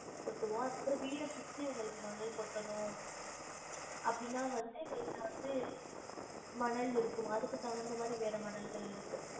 கொட்டுவோம் அதுக்கு அப்றம் வீட சுத்தி உங்களுக்கு மணல் கொட்டணும் அப்டினா வந்து எங்களுட்ட வந்து மணல் இருக்கு மா அதுக்கு தகுந்த மாதிரி வேற மணல்கள் இருக்கு